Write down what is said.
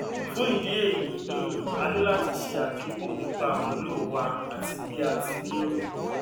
fún ìdí èyí um a ní láti ṣe àdínkù nípa àmúlò wa àti bí a ti lérò